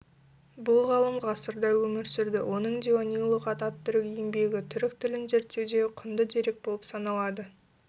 бұл ғалым ғасырда өмір сүрді оның диуани-лұғат ат-түрік еңбегі түрік тілін зерртеудегі құнды дерек болып саналады